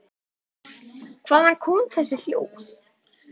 Hvaðan koma þessi hljóð?